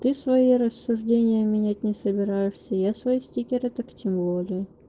ты свои рассуждения менять не собираешься я свои стикеры так тем более